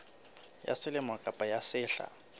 ya selemo kapa ya sehla